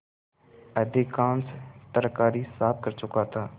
अधिकांश तरकारी साफ कर चुका था